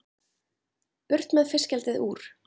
Burt með fiskeldið úr